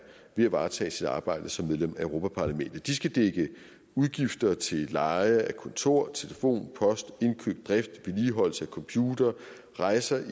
ved at varetage sit arbejde som medlem af europa parlamentet de skal dække udgifter til leje af kontor telefon post indkøb drift vedligeholdelse af computere rejser